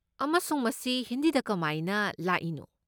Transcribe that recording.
ꯑꯃꯁꯨꯡ ꯃꯁꯤ ꯍꯤꯟꯗꯤꯗ ꯀꯃꯥꯏꯅ ꯂꯥꯛꯏꯅꯣ?